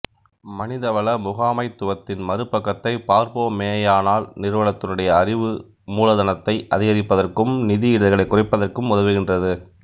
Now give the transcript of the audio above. மனித வள முகாமைத்துவத்தின் மறுபக்கத்தை பார்ப்போமேயானால் நிறுவனத்தினுடைய அறிவு மூலதனத்தை அதிகரிப்பதற்கும் நிதி இடர்களை குறைப்பதற்கும் உதவுகின்றது